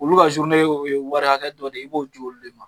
Olu ka zurune o ye wari hakɛ dɔ de ye i b'o ji olu de ma